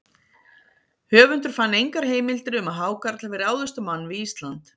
Höfundur fann engar heimildir um að hákarl hafi ráðist á mann við Ísland.